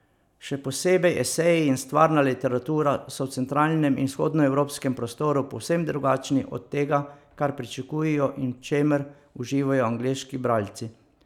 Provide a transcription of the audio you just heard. Še posebej eseji in stvarna literatura so v centralnem in vzhodnoevropskem prostoru povsem drugačni od tega, kar pričakujejo in v čemer uživajo angleški bralci.